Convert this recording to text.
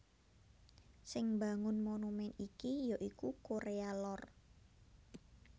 Sing mbangun monumèn iki ya iku Korea Lor